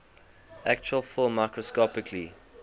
actual film microscopically